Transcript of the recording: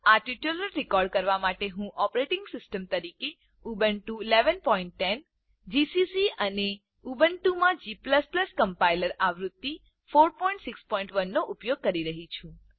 આ tutorial record કરવા માટે હું ઓપરેટિંગ સિસ્ટમ તરીકે ઉબુન્ટુ 1110 જીસીસી અને ઉબુન્ટુમાં g કમ્પાઈલર આવૃત્તિ 461 નો ઉપયોગ કરી રહ્યી છું